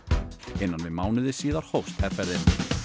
innan við mánuði síðar hófst herferðin